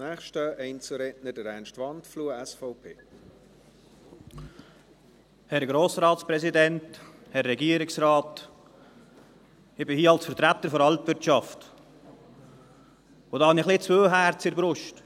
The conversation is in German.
Ich bin hier als Vertreter der Alpwirtschaft, und da habe ich ein wenig zwei Herzen in der Brust.